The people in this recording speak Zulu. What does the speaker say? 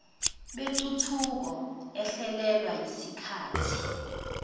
bentuthuko ehlelelwa isikathi